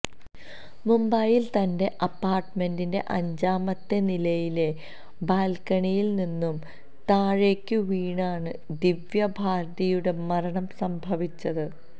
മുംബൈയിലെ തന്റെ അപ്പാർട്ട്മെന്റിന്റെ അഞ്ചാമത്തെ നിലയിലെ ബാൽക്കണിയിൽ നിന്നും താഴേക്ക് വീണാണ് ദിവ്യ ഭാരതിയുടെ മരണം സംഭവിച്ചത്